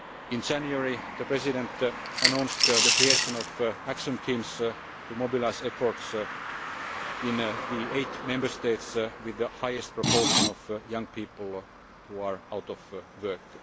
levels. In January the President announced the creation of action teams to mobilise efforts in the eight Member States with the highest proportion of young people out